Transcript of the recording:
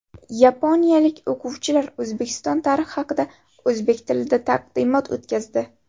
Yaponiyalik o‘quvchilar O‘zbekiston tarixi haqida o‘zbek tilida taqdimot o‘tkazdi.